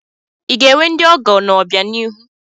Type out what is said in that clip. I ga-enwe ndị ọgọ n'obianihu?